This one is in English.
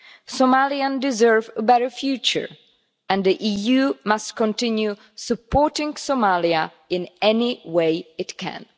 Somalians deserve a better future, and the EU must continue supporting Somalia in any way it can.